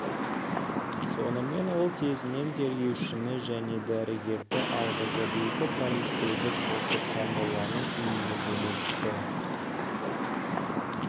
сонымен ол тезінен тергеушіні және дәрігерді алғызып екі полицейді қосып сармолланың үйіне жөнелтті